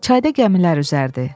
Çayda gəmilər üzərdi.